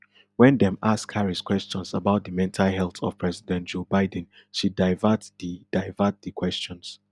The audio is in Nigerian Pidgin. wen dem ask harris questions about di mental health of president joe biden she divert di divert di questions